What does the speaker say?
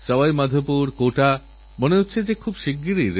আমি জানতে চাই এই প্রতারণামূলক এবংভুয়ো ইমেলের সম্পর্কে আপনারা কী ভাবছেন